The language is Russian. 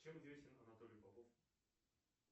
чем известен анатолий попов